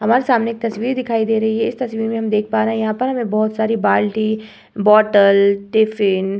हमारे सामने एक तस्वीर दिखाई दे रही है। इस तस्वीर में हम देख पा रहे हैं यहाँ पर हमें बहोत सारी बाल्टी बॉटल टिफिन --